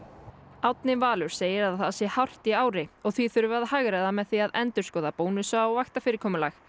Árni Valur segir að það sé hart í ári og því þurfi að hagræða með því að endurskoða bónusa og vaktafyrirkomulag